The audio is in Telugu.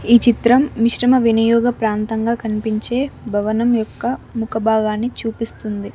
ఈ చిత్రం మిశ్రమ వినియోగ ప్రాంతంగా కనిపించే భవనం యొక్క ముఖ భాగాన్ని చూపిస్తుంది.